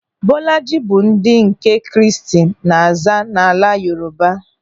Bọlajị bụ ndị nke Kraịst na-aza n'ala Yoruba.